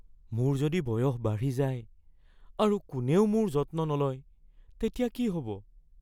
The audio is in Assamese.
মোৰ যদি বয়স বাঢ়ি যায় আৰু কোনেও মোৰ যত্ন নলয় তেতিয়া কি হ'ব?